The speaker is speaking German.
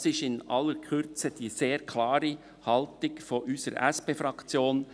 Das ist in aller Kürze die sehr klare Haltung seitens unserer SP-Fraktion.